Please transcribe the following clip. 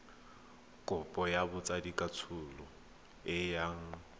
kopo ya botsadikatsholo e yang